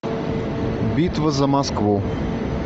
битва за москву